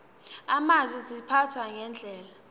amazwe ziphathwa ngendlela